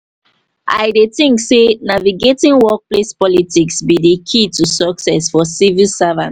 i dey think say navigating workplace politics be di key to success for civil servants.